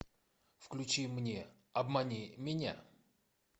включи мне обмани меня